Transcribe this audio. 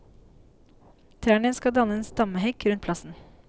Trærne skal danne en stammehekk rundt plassen.